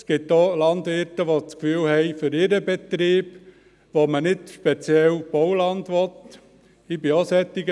Es gibt auch Landwirte, die das Gefühl haben, für ihren Betrieb, wo man nicht speziell Bauland will, sei diese Kartierung infrage zu stellen.